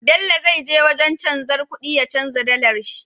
Bello zai je wajan canjar kuɗi ya canja dalar sh